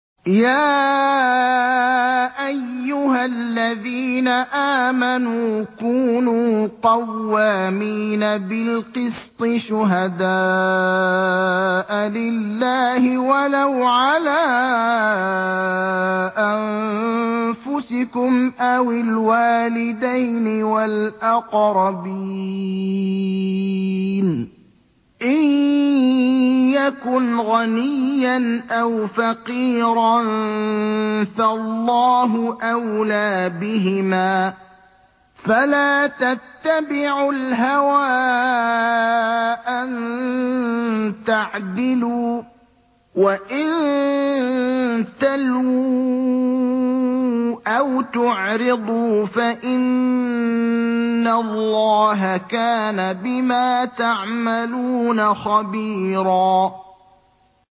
۞ يَا أَيُّهَا الَّذِينَ آمَنُوا كُونُوا قَوَّامِينَ بِالْقِسْطِ شُهَدَاءَ لِلَّهِ وَلَوْ عَلَىٰ أَنفُسِكُمْ أَوِ الْوَالِدَيْنِ وَالْأَقْرَبِينَ ۚ إِن يَكُنْ غَنِيًّا أَوْ فَقِيرًا فَاللَّهُ أَوْلَىٰ بِهِمَا ۖ فَلَا تَتَّبِعُوا الْهَوَىٰ أَن تَعْدِلُوا ۚ وَإِن تَلْوُوا أَوْ تُعْرِضُوا فَإِنَّ اللَّهَ كَانَ بِمَا تَعْمَلُونَ خَبِيرًا